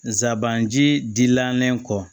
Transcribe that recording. Nsaban jidilannen kɔ